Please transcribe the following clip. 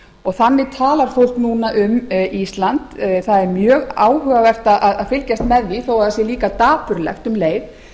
þannig talar fólk núna um ísland það er mjög áhugavert að fylgjast með því þó það sé líka dapurlegt um leið